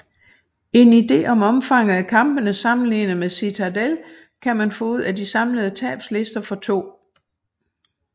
En ide om omfanget af kampene sammenlignet med Citadelle kan man få ud af de samlede tabslister for 2